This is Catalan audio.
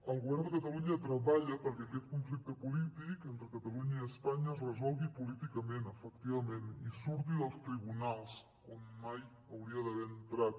el govern de catalunya treballa perquè aquest conflicte polític entre catalunya i espanya es resolgui políticament efectivament i surti dels tribunals on mai hauria d’haver entrat